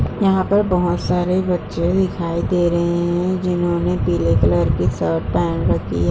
यहाँ पर बोहोत सारे बच्चे दिखाई दे रहे हैं जिन्होंने पीले कलर की शर्ट पहन रखी है।